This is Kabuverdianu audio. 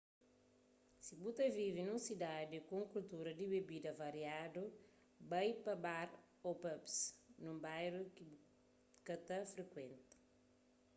si bu ta vive nun sidadi ku un kultura di bebida variadu bai pa bar ô pubs nun bairu ki bu ka ta frikuenta